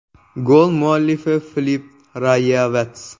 Gol muallifi Filip Rayevats.